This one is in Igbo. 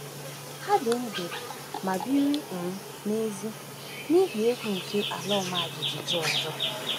“Ha dị ndụ ma biri um n’èzí n’ihi egwu nke ala ọma jijiji ọzọ.